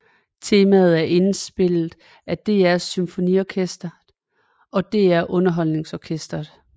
Temaet er indspillet af DR SymfoniOrkestret og DR UnderholdningsOrkestret